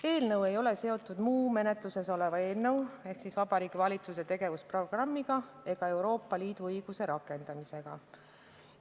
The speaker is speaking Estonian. Eelnõu ei ole seotud muu menetluses oleva eelnõuga ehk Vabariigi Valitsuse tegevusprogrammiga ega Euroopa Liidu õiguse rakendamisega.